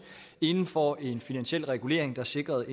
inden for en finansiel regulering der sikrer